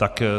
Tak.